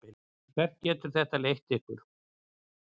Hvert getur þetta leitt ykkur?